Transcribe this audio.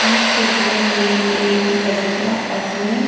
इस चित्र में एक बच्चा अपने --